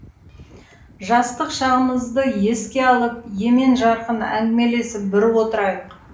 жастық шағымызды еске алып емен жарқын әңгімелесіп бір отырайық